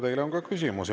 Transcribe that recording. Teile on ka küsimusi.